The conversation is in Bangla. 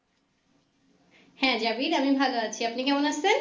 হ্যাঁ জাভিদ আমি ভালো আছি আপনি কেমন আছেন?